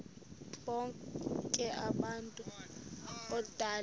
bonk abantu odale